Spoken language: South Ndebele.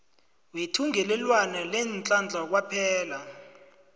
wethungelelwano leenhlahla kwaphela